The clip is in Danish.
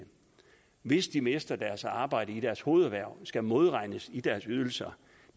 hvis de mister deres arbejde i deres hovederhverv skal modregnes i deres ydelser